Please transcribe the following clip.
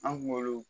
An kunkolo